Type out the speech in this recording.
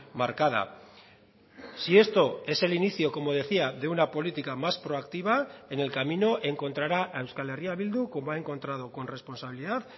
marcada si esto es el inicio como decía de una política más proactiva en el camino encontrará a euskal herria bildu como ha encontrado con responsabilidad